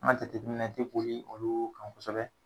An ka jateminɛ te boli olu kan kosɛbɛ.